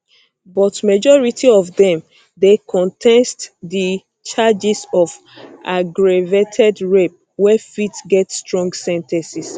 but majority of dem dey contest di charges of aggravated rape wey fit get strong sen ten ces